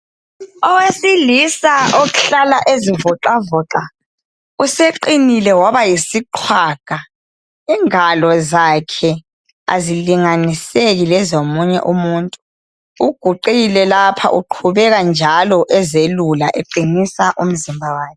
Owesilisa ohlala ezivoxavoxa useqinile waba yisiqwaga. Ingalo zakhe azilinganiseki lezomunye umuntu. uguqile lapha uqhubeke njalo ezelula eqinisa umzimba wakhe.